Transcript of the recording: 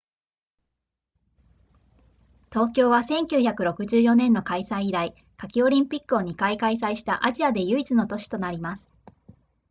東京は1964年の開催以来夏季オリンピックを2回開催したアジアで唯一の都市となります